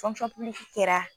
kɛra